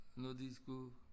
Nå de skulle